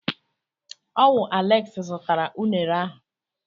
Ọ wụ Aleksi zụtara unere ahụ.